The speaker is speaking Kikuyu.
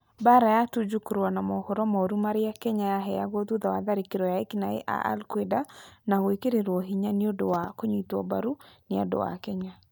Mbaara ya Tuju kũrũa na mohoro mooru marĩa Kenya ya heagwo thutha wa tharĩkĩro cia ekinaĩ a al Qaeda nĩ gwekĩrirũo hinya nĩ ũndũ wa kũnyitwo mbaru nĩ andũ a Kenya.